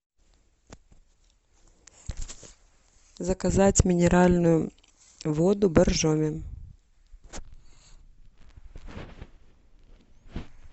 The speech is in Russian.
заказать минеральную воду боржоми